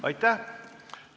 Aitäh!